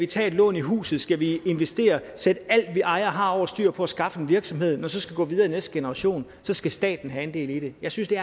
tage et lån i huset skal vi investere sætte alt vi ejer og har over styr på at skaffe en virksomhed når så skal gå videre i næste generation så skal staten have andel i det jeg synes det